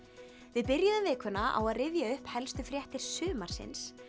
við byrjuðum vikuna á að rifja upp helstu fréttir sumars